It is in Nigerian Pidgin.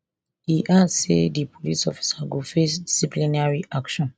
e add say di police officer go face disciplinary action